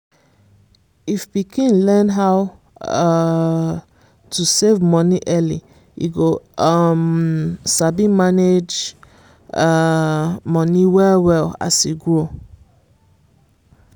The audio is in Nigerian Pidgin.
if pikin learn how um to save money early e go um sabi manage um money well well as e grow.